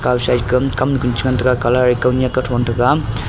aga side ke kam kamnu cha ngan taiga colour a kawnak kawthon taiga.